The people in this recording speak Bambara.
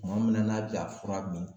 Tuma min na n'a bɛ ka fura min